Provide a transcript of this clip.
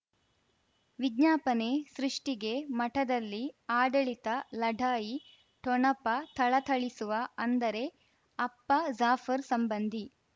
ವಿಜ್ಞಾಪನೆ ಸೃಷ್ಟಿಗೆ ಮಠದಲ್ಲಿ ಆಡಳಿತ ಲಢಾಯಿ ಠೊಣಪ ಥಳಥಳಿಸುವ ಅಂದರೆ ಅಪ್ಪ ಜಾಫರ್ ಸಂಬಂಧಿ